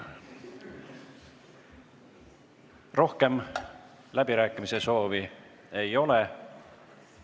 Rohkem läbirääkimise soove ei ole.